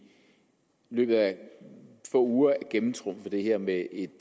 løbet af få uger at gennemtrumfe det her med et